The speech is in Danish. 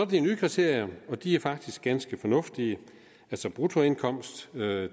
de nye kriterier og de er faktisk ganske fornuftige bruttoindkomst er